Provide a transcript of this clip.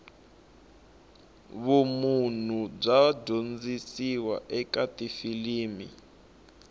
vumunhu bya dyondziwa eka tifilimu